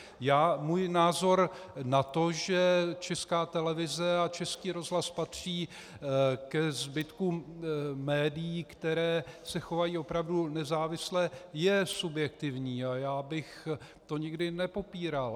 Můj názor na to, že Česká televize a Český rozhlas patří ke zbytkům médií, která se chovají opravdu nezávisle, je subjektivní a já bych to nikdy nepopíral.